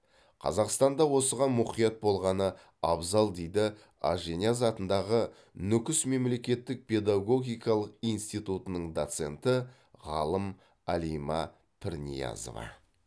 қазақстанда осыған мұқият болғаны абзал дейді ажинияз атындағы нүкіс мемлекеттік педагогикалық институтының доценті ғалым алима пірниязова